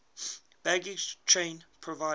baggage train provided